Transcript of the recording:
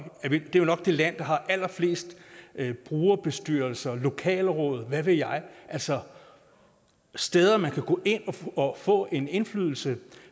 er det land der har allerflest brugerbestyrelser lokalråd hvad ved jeg altså steder man kan gå ind og få en indflydelse